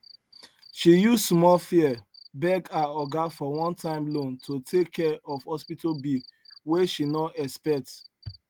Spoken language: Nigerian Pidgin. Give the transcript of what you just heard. she use small fear beg her oga for onetime loan to take care of hospital bill wey she no expect